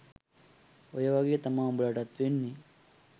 ඔය වගේ තමා උඹලටත් වෙන්නේ